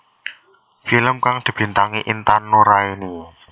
Film kang dibintangi Intan Nuraini